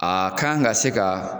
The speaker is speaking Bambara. A k'an ka se ka